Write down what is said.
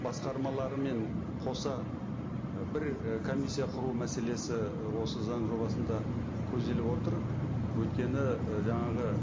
басқармаларымен қоса і бір і комиссия құру мәселесі осы заң жобасында көзделіп отыр өйткені і жаңағы